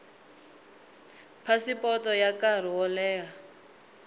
phasipoto ya nkarhi wo leha